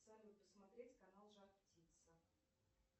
салют посмотреть канал жар птица